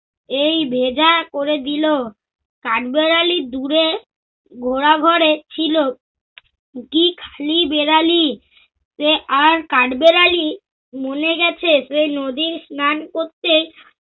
এই ভেজা করে দিল। কাঠবেড়ালি দূরে ঘোড়াঘরে ছিল। কি খালি বেরালি, সে আর কাঠবেড়ালি মনে গেছে সেই নদীর স্নান করতে